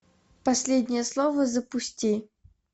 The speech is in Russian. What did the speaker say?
последнее слово запусти